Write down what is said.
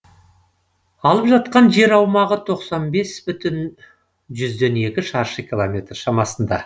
алып жатқан жер аумағы тоқсан бес бүтін жүзден екі шаршы километр шамасында